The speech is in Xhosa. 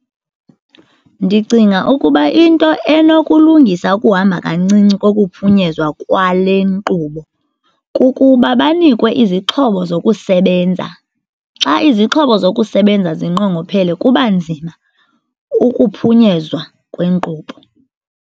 Ndicinga ukuba into enokulungisa ukuhamba kancinci kokuphunyezwa kwale nkqubo kukuba banikwe izixhobo zokusebenza. Xa izixhobo zokusebenza zinqongophele kuba nzima ukuphunyezwa kwenkqubo.